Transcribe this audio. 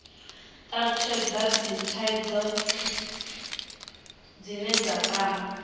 talutshhedza dzithaidzo dzine dza kwama